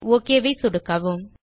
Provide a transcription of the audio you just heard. okay ஐ சொடுக்கவும்